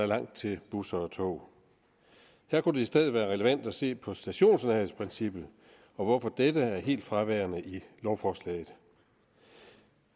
langt til busser og tog her kunne det i stedet være relevant at se på stationsnærhedsprincippet og hvorfor dette er helt fraværende i lovforslaget